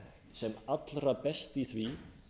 sem allra best í því